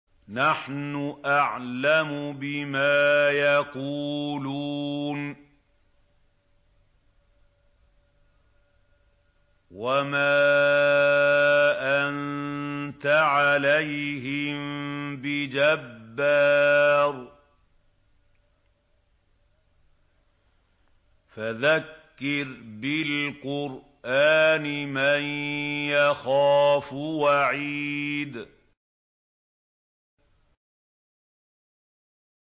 نَّحْنُ أَعْلَمُ بِمَا يَقُولُونَ ۖ وَمَا أَنتَ عَلَيْهِم بِجَبَّارٍ ۖ فَذَكِّرْ بِالْقُرْآنِ مَن يَخَافُ وَعِيدِ